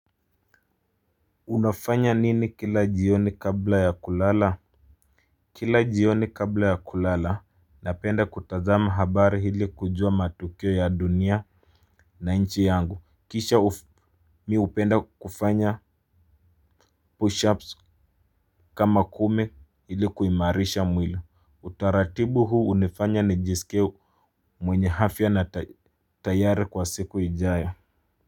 Unafanya nini kila jioni kabla ya kulala. Kila jioni kabla ya kulala napenda kutazama habari ili kujua matukio ya dunia na nchi yangu. Kisha mimi hupenda kufanya push ups kama kumi ili kuimarisha mwili. Utaratibu huu hunifanya nijisikie mwenye afya na tayari kwa siku ijayo.